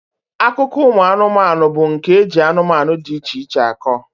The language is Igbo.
Akụkọ ụmụanụmanụ bụ nke eji anụmanụ dị iche iche akọ.